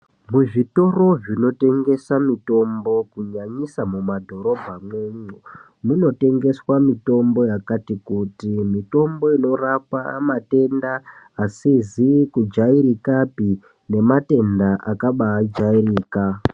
Muzvitoro zvinotengesa mitombo kunyanyisa mumadhorobha mwomwo munotengeswa mitombo yakati kuti mitombo inorapa matenda asizi kujairikapi nematenda yakabajairika.